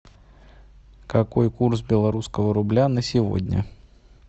какой курс белорусского рубля на сегодня